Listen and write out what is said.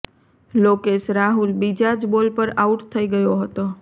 લોકેશ રાહુલ બીજા જ બોલ પર આઉટ થઈ ગયો હતો